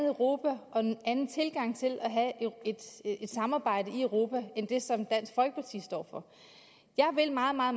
europa og en anden tilgang til at have et samarbejde i europa end det som dansk folkeparti står for jeg vil meget meget